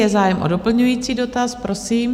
Je zájem o doplňující dotaz, prosím.